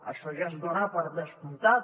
això ja es dona per descomptat